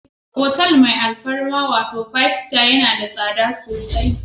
hotal mai alfarma wato Five Star, na da tsada sosai.